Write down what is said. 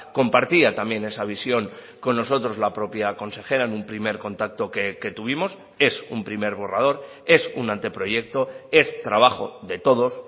compartía también esa visión con nosotros la propia consejera en un primer contacto que tuvimos es un primer borrador es un anteproyecto es trabajo de todos